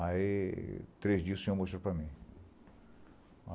Aí, três dias o senhor mostrou para mim.